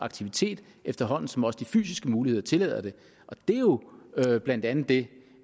aktivitet efterhånden som også de fysiske muligheder tillader det det er jo blandt andet det